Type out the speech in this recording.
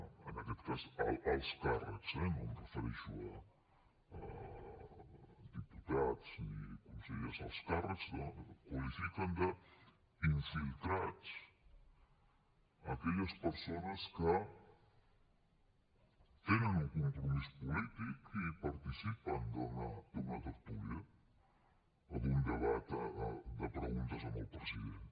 en aquest cas alts càrrecs eh no em refereixo a diputats ni consellers alts càrrecs qualifiquen d’ infiltrats aquelles persones que tenen un compromís polític i participen d’una tertúlia en un debat de preguntes al president